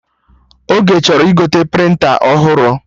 Oge chọrọ igote prịnta ọhụrụ echi